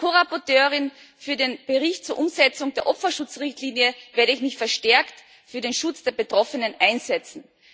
Als Ko Berichterstatterin für den Bericht zur Umsetzung der Opferschutz Richtlinie werde ich mich verstärkt für den Schutz der Betroffenen einsetzen.